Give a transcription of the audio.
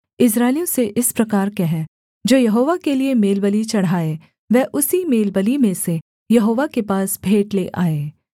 इस्राएलियों से इस प्रकार कह जो यहोवा के लिये मेलबलि चढ़ाए वह उसी मेलबलि में से यहोवा के पास भेंट ले आए